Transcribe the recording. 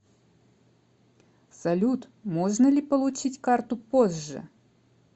салют можно ли получить карту позже